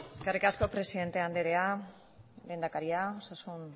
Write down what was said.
eskerrik asko presidente andrea lehendakaria osasun